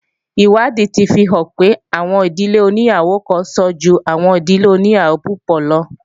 Ìwádìí ti fi hàn pé, àwọn ìdílé oníyàwó kan sàn ju àwọn ìdílé oníyàwó púpọ̀ lo